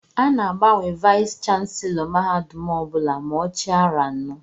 A ná-agbanwe Vayis chansilọ mahadum ọbula ma ọ chia aro anọ.